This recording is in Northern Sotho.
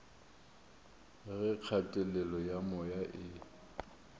ge kgatelelo ya moya e